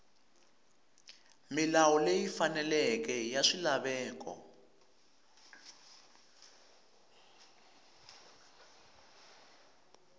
milawu leyi faneleke ya swilaveko